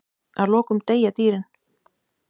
Að lokum deyja dýrin.